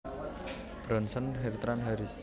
Bronson Bertrand Harris